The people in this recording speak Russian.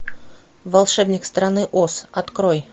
волшебник страны оз открой